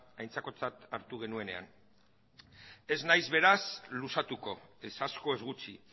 aintzakotzat hartu genuenean ez nahiz beraz luzatuko ez asko ez gutxi